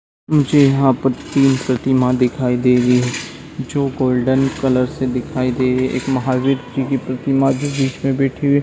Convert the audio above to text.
जी हा प्रतिम प्रतिमा दिखाई दे रही है जो गोल्डन कलर से दिखाई दे एक महावीर जी कि प्रतीमा जी की प्रतिमा भी बीच में बैठी हुई हैं।